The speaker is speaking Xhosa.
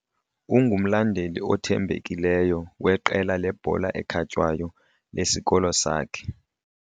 Ungumlandeli othembekileyo weqela lebhola ekhatywayo lesikolo sakhe.